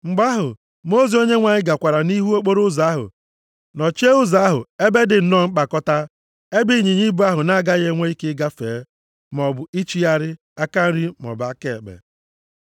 Mgbe ahụ, mmụọ ozi Onyenwe anyị gakwara nʼihu nʼokporoụzọ ahụ nọchie ụzọ ahụ ebe dị nnọọ mkpakọta, ebe ịnyịnya ibu ahụ na-agaghị enwe ike gafee, maọbụ ichigharị aka nri maọbụ aka ekpe.